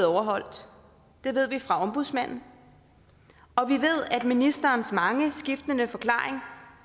overholdt det ved vi fra ombudsmanden og vi ved at ministerens mange skiftende forklaringer